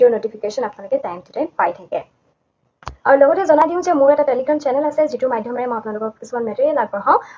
Notification আপোনালোকে time to time পাই থাকে। আৰু লগতে জনাই দিওঁ যে মোৰ এটা Telegram channel আছে, যিটোৰ মাধ্যমেৰে মই আপোনালোকক কিছুমান message আগবঢ়াও।